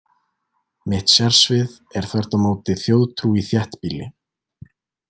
Mitt sérsvið er þvert á móti þjóðtrú í þéttbýli.